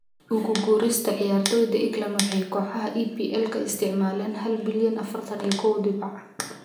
Ugu guurista ciyaartoyda England waxay kooxaha EPL ka isticmaaleen hal balyan afartan kow dibac.